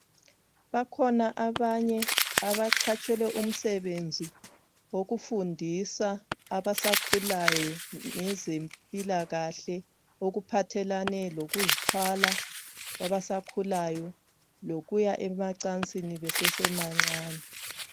Bakhona abanye abaqhatshelwe umsebenzi wokufundisa abasakhulayo ngezempilakahle okuphathelane lokuzithwala kwabasakhulayo lokuya emacansini besesebancani.